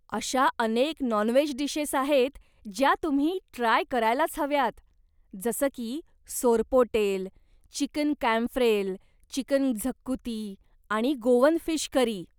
अशा अनेक non veg dishes आहेत ज्या तुम्ही ट्राय करायलाच हव्यात, जसं की सोरपोटेल, चिकन कॅम्फ्रेल, चिकन क्झकुती, आणि गोवन फिश करी.